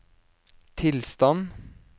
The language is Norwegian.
tilstand